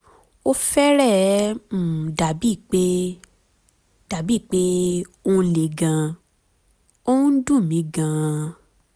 ó fẹ́rẹ̀ẹ́ um dàbíi pé um dàbíi pé ó ń le gan-an! ó ǹ dùn um mí um gan-an